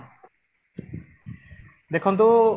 ଦେଖନ୍ତୁ